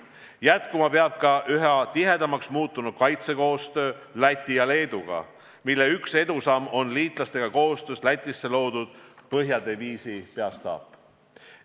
Jätkuma peab ka üha tihedamaks muutunud kaitsekoostöö Läti ja Leeduga, mille üks edusamm on liitlastega koostöös Lätis asutatud Põhjadiviisi peastaap.